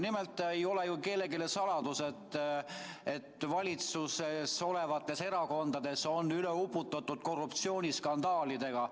Nimelt ei ole ju kellelegi saladus, et valitsuses olevad erakonnad on üle uputatud korruptsiooniskandaalidest.